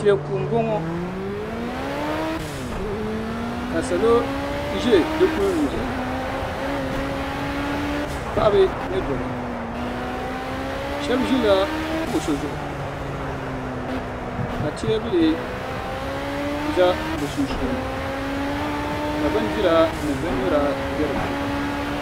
Teeku n bɔŋo ka salo ʒɛ di kuli noli paɣaba ni dɔbba shɛba ʒila kuɣusi zuɣu ka teebuli za bi sunsuuni ka bindira ni bin nyura bɛ di puuni.